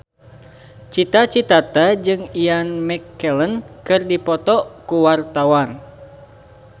Cita Citata jeung Ian McKellen keur dipoto ku wartawan